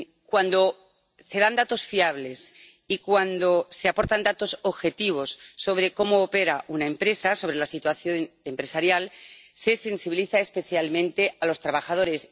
Cuando se dan datos fiables y cuando se aportan datos objetivos sobre cómo opera una empresa, sobre la situación empresarial, se sensibiliza especialmente a los trabajadores.